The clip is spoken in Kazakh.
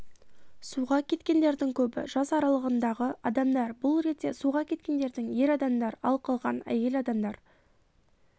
суға кеткендердің көбі жас аралығындағы адамдар бұл ретте суға кеткендердің ер адамдар ал қалған әйел адамдар